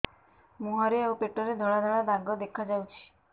ମୁହଁରେ ଆଉ ପେଟରେ ଧଳା ଧଳା ଦାଗ ଦେଖାଯାଉଛି